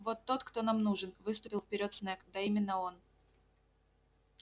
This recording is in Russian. вот тот кто нам нужен выступил вперёд снегг да именно он